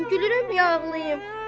Bilmirəm gülürəm, ya ağlayım.